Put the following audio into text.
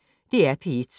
DR P1